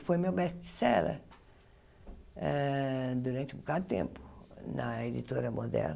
E foi meu best-seller eh durante um bocado de tempo na editora moderna.